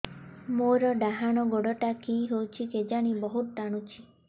ମୋର୍ ଡାହାଣ୍ ଗୋଡ଼ଟା କି ହଉଚି କେଜାଣେ ବହୁତ୍ ଟାଣୁଛି